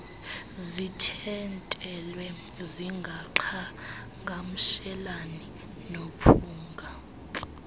zithintelwe zingaqhagamshelani nomphunga